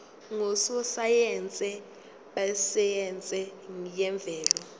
ngososayense besayense yemvelo